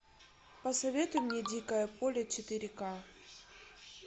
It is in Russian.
посоветуй мне дикое поле четыре ка